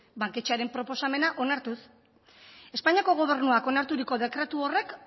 banketxearen proposamena onartuz espainiako gobernuak onarturiko dekretu horrek